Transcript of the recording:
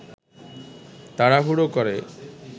তাড়াহুড়ো করে